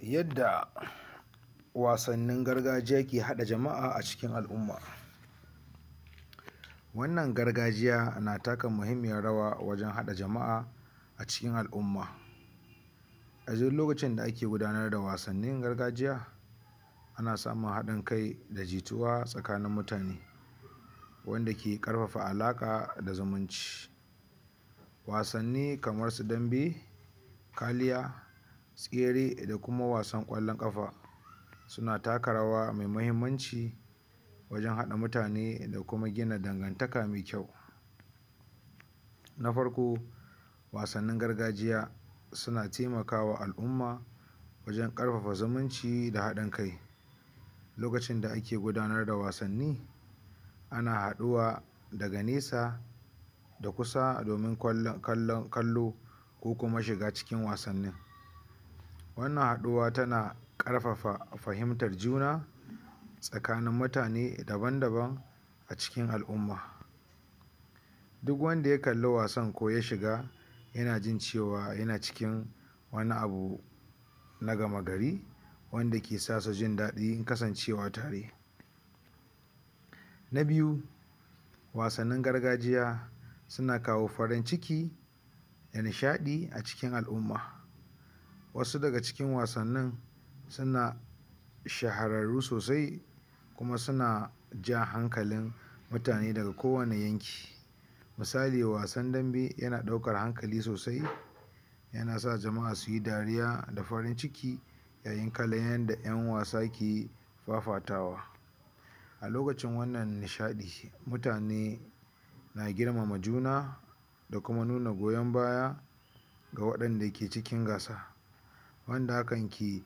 Yadda wasannin gargajiya ke haɗa jama'a a cikin al'umma wannan gargajiya na taka muhimmiyar rawa a cikin al'umma. A duk lokacin da ake gudanarwa wassannin gargajiya ana samu haɗin kai da jituwa a tsakanin mutane wanda ke ƙarfafa alaƙa da zumunci. Wasanni kamarsu dambe kaliya tsere da kuma wasan ƙwallon ƙafa suna taka rawa masu muhimmanci wajen haɗa mutane da kuma gina dangantaka mai ƙyau. Na farko wasannin gargajiya suna taimaka wa al'umma wajen ƙarfafa zumunci da haɗa kai lokacin da ake gudanarda wasanni ana haɗuwa daga nesa da kusa domin kallo ko kuma shiga cikin wasannin. Wannan haɗuwa tana ƙarfafa fahimtar juna tsakanin mutane daban-daban a cikin al'umma duk wanda ya kalli wasan ko ya shiga yana jin cewa yana cikin wani abu na gama gari wanda ke sanya su jin daɗin kasancewa tare, na biyu wato wasannin gargajiya sun kawo farin ciki da nishaɗi a tsakanin al'umma wasu daga cikin wasannin suna shahararru sosai kuma ja hankalin mutane daga kowane yanki misali wasan dambe yana ɗaukar hankali sosai yana sa mutane su yi dariya da farin ciki ya yin kallon yanda ƴan wasa ke fafatawa a lokacin wannan nishaɗi mutane na girmama juna da kuma nuna goyon baya ga waɗanda ke cikin gasa wanda hakan ke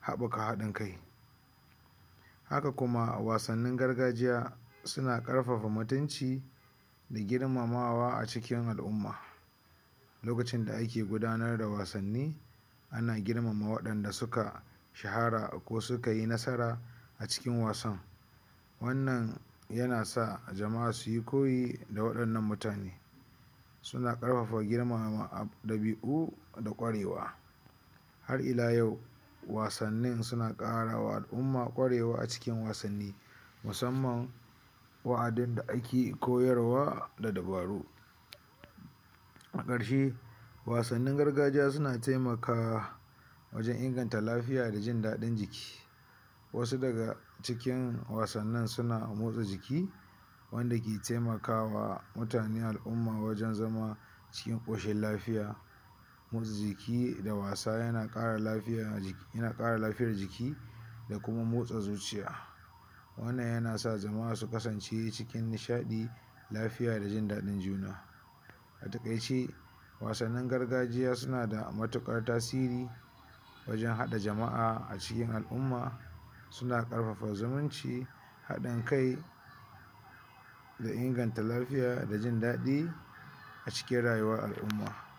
haɓaka haɗin kai haka kuma wasannin gargajiya suna haɓaka mutunci da girmamamwa a tsakanin al'umma lokacin da ake gudanar da wasanni ana grmama waɗan da suka shahara ko suka yi nasara a cikin wasa wannan yana sa jama'a su yi ko yi a cikin mutane suna ƙarfafa girmama ɗabi'u da kuma ƙwarewa. Har ila yau, wasannin suna ƙarawa al'umma ƙwarewa a cikin wasanni musamman wa'azin da ake koyarwa da dabaru a ƙarshe wasannin gargajiya suna taimakawa wajen inganta lafiya da jindaɗin jiki wasu daga cikin wasannin suna motsa jiki wanda ke taimaka wa mutane al'umma wajen zama cikin ƙoshin lafiya motsa jiki da wasa yana ƙara lafiyar jiki da kuma motsa zuciya wannan yana sa jama'a su kasance cikin nishaɗi lafiya da jin daɗin juna. A taƙaice wasannin gargajiya suna da matuƙar muhimmanci wajen haɗa jama'a a cikin al'umma suna ƙarfafa zumunci haɗin kai da inganta lafiya da jin daɗi a cikin al'umma